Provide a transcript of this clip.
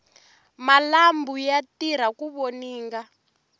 malambhu ya tirha ku voninga